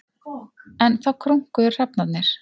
Enn þá krunkuðu hrafnarnir.